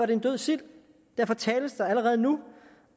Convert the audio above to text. det en død sild og derfor tales der allerede nu